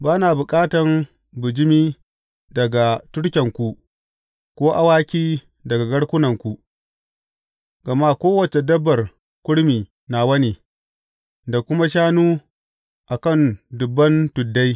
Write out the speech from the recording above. Ba na bukatan bijimi daga turkenku ko awaki daga garkunanku, gama kowace dabbar kurmi nawa ne, da kuma shanu a kan dubban tuddai.